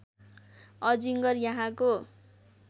अजिङ्गर यहाँको